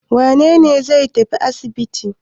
Wane ne zai tafi asibiti?